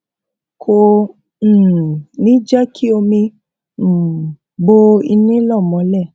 kò um ní jé kí omi um bo ilè náà mólè